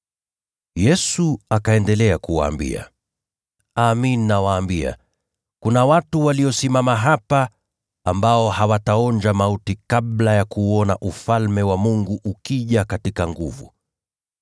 Yesu akaendelea kuwaambia, “Amin, nawaambia, kuna watu waliosimama hapa ambao hawataonja mauti kabla ya kuuona Ufalme wa Mungu ukija kwa nguvu.”